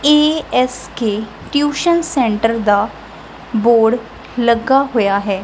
ਏ S K tuition centre ਦਾ board ਲੱਗਾ ਹੋਇਆ ਹੈ।